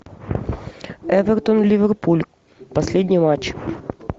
эвертон ливерпуль последний матч